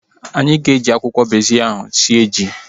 Anyị ga-eji akwụkwọ bezil ahu sie ji